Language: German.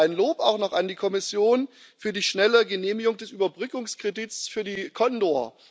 Ein Lob auch noch an die Kommission für die schnelle Genehmigung des Überbrückungskredits für die Condor.